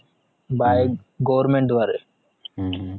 goverment द्वारे